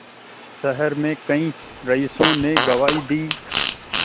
शहर में कई रईसों ने गवाही दी